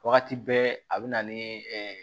Wagati bɛɛ a bɛ na ni